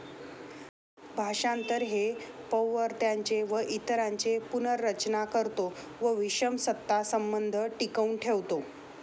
भाषांतर हे पौवर्त्यांचे व इतरांचे पुनर्रचना करतो व विषम सत्ता संबंध टिकवून ठेवतो.